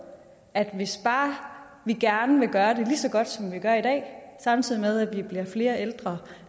at hvis bare vi gerne vil gøre det lige så godt som vi gør i dag samtidig med at vi bliver flere ældre